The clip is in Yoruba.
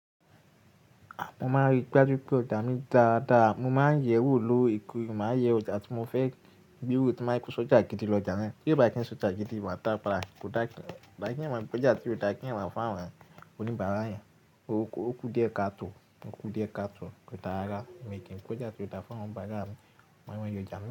Mo máa ń ríi gbá ju pé ọjà mi dára dára. Mo máa ń yẹ̀ ẹ́ wò loorekoore. Mo, màá n yẹ ọjà tí mo fẹ́ gbé wò, tí máa kó sọ́jà gidi lọ ọjà náà. Kí bá kí ń sọ́jà gidi, wà ta bai kò dáa. Ìbá kí ń mọ pé ọjà tí ó dáa kí ń ràn fún àwọn oníbàárà yẹn. Ó kú díẹ̀ káàtò, ó kú díẹ̀ káàtò, kò dára. Mi ò kí ń kọjà tí ó dáa fún àwọn oníbàárà mi, màa mọ yojá naw.